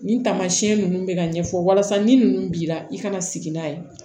Nin taamasiyɛn ninnu bɛ ka ɲɛfɔ walasa ni ninnu bi la i kana sigi n'a ye